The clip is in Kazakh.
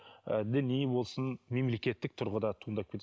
ііі діни болсын мемлекеттік тұрғыда туындап